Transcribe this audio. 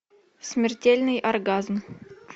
смертельный оргазм